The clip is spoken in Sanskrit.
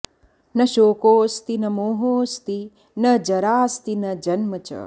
न शोकोऽस्ति न मोहोऽस्ति न जराऽस्ति न जन्म च